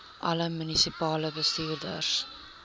alle munisipale bestuurders